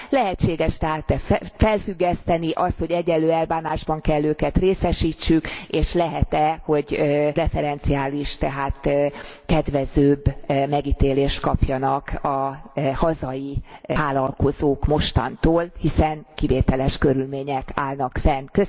Lehetséges e tehát felfüggeszteni azt, hogy egyenlő elbánásban kell őket részesítsük, és lehet e, hogy preferenciális, tehát kedvezőbb megítélést kapjanak a hazai vállalkozók mostantól, hiszen kivételes körülmények állnak fent?